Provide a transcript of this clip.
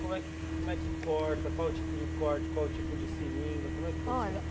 Como é que como é que corta, qual é o tipo de corte, qual é o tipo de seringa, como é que funciona?